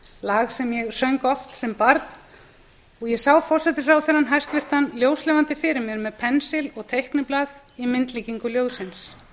lag sem ég söng oft sem barn og ég sá hæstvirtan forsætisráðherra ljóslifandi fyrir mér með pensil og teikniblað í myndlíkingu ljóðsins